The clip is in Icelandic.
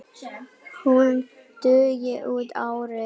Hún dugi út árið.